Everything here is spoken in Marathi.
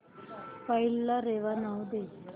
फाईल ला रेवा नाव दे